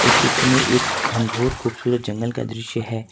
चित्र में एक घनघोर खूबसूरत जंगल का दृश्य है।